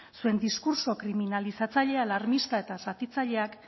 zuen diskurtso kriminalizatzaile alarmista eta zatitzaileak